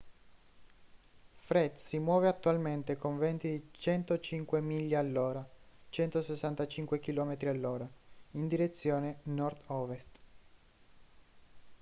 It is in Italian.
fred si muove attualmente con venti di 105 miglia all’ora 165 km/h in direzione nord-ovest